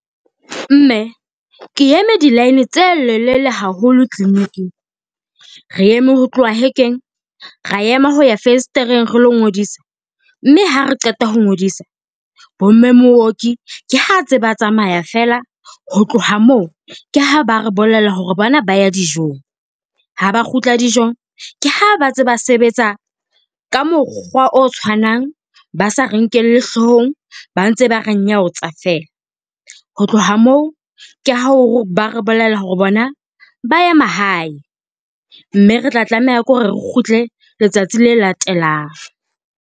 Mme ke eme di-line tse lelele haholo clinic-ing. Re eme ho tloha hekeng, ra ema ho ya fesetereng re lo ngodisa, mme ha re qeta ho ngodisa bomme mooki ke ha ntse ba tsamaya feela. Ho tloha moo ke ha ba re bolella hore bona ba ya dijong, ha ba kgutla dijong ke ha ba tseba sebetsa ka mokgwa o tshwanang ba sa re nkelle hloohong ba ntse ba re nyaotsa fela ho tloha moo, ke ha ba re bolella ho re bona ba ya mahae, mme re tla tlameha ke ho re re kgutle letsatsi le latelang.